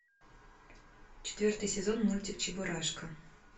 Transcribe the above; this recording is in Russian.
четвертый сезон мультик чебурашка